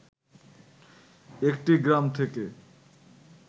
একটি গ্রাম থেকে